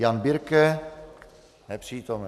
Jan Birke: Nepřítomen.